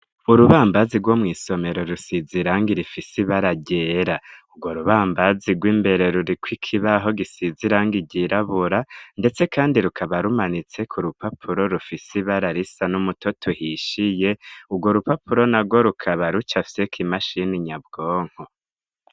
Urubambazi rwo mw'isomero rusize irangi rifise ibara ryera, urwo rubambazi rw'imbere ruri ku kibaho gisize irangi ryirabura ndetse kandi rukaba rumanitse ku rupapuro rufise ibara risa n'umutoto uhishiye, urwo rupapuro nagwo rukaba rucafyeko imashini nyabwonko.